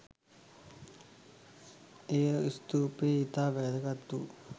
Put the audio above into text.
එය ස්තූපයේ ඉතා වැදගත් වූ